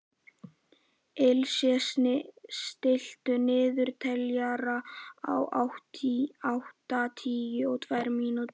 Ilse, stilltu niðurteljara á áttatíu og tvær mínútur.